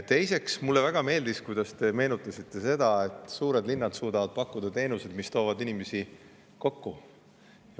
Teiseks, mulle väga meeldis, kui te meenutasite seda, et suured linnad suudavad pakkuda teenuseid, mis toovadki inimesi kokku.